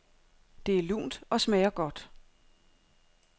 Det er lunt og smager godt.